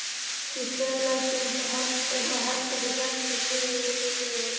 Ég staulaðist upp á herbergi og hélt þar kyrru fyrir.